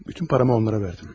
Bütün pulumu onlara verdim.